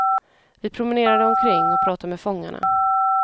Vi promenerade omkring och pratade med fångarna.